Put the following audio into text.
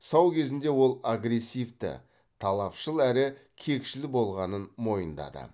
сау кезінде ол агрессивті талапшыл әрі кекшіл болғанын мойындады